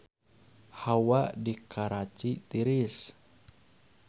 Hawa di Karachi tiris